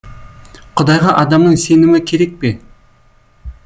құдайға адамның сенімі керек пе